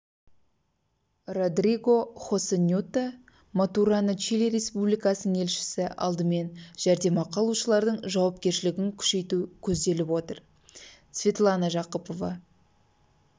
родриго хосе ньето матурана чили республикасының елшісі алдымен жәрдемақы алушылардың жауапкершілігін күшейту көзделіп отыр светлана жақыпова